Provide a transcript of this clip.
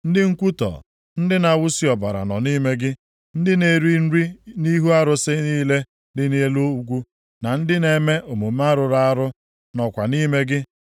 Ndị nkwutọ, ndị na-awụsi ọbara nọ nʼime gị. Ndị na-eri nri nʼihu arụsị niile dị nʼelu ugwu, na ndị na-eme omume rụrụ arụ nọkwa nʼime gị.